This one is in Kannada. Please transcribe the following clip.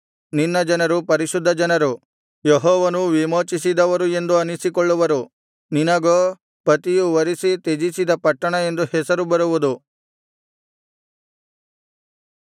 ನಿನ್ನ ಜನರು ಪರಿಶುದ್ಧಜನರು ಯೆಹೋವನು ವಿಮೋಚಿಸಿದವರು ಎಂದು ಅನ್ನಿಸಿಕೊಳ್ಳುವರು ನಿನಗೋ ಪತಿಯು ವರಿಸಿ ತ್ಯಜಿಸದ ಪಟ್ಟಣ ಎಂದು ಹೆಸರು ಬರುವುದು